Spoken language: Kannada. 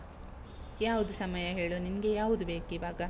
ಯಾವ್ದು ಸಮಯ ಹೇಳು? ನಿಂಗೆ ಯಾವ್ದು ಬೇಕಿವಾಗ?